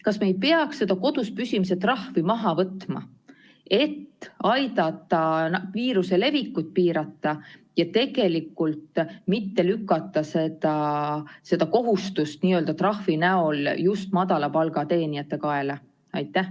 Kas me ei peaks seda kodus püsimise trahvi maha võtma, et aidata viiruse levikut piirata ja mitte lükata seda kohustust n‑ö trahvi näol just madala palga teenijate kaela?